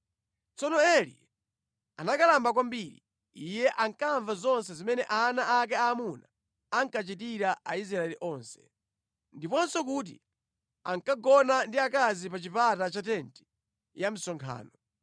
Tsono Eli anakalamba kwambiri. Iye ankamva zonse zimene ana ake aamuna ankachitira Aisraeli onse, ndiponso kuti ankagona ndi akazi pa chipata cha tenti ya msonkhano.